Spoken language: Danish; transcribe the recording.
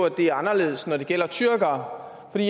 at det er anderledes når det gælder tyrkere jeg